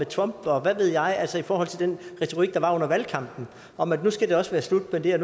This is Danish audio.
trump og hvad ved jeg altså i forhold til den retorik der var under valgkampen om at nu skal det også være slut med det at